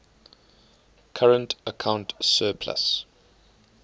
current account surplus